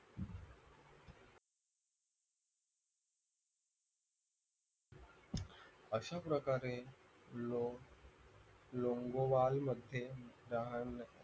अशाप्रकारे लोक लोंगोवालमधे रहाण